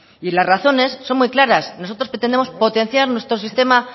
y las razones son muy claras nosotros pretendemos potenciar nuestro sistema